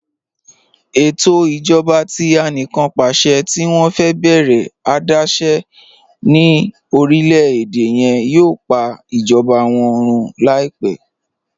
Ẹtọ ijọba tí àníkànpàṣẹ̀ tì wọn fẹ bẹ̀rẹ adaṣẹ̀ ni orílẹ̀-èdè yẹn yòò pà ijọba wọn rún laipẹ̀.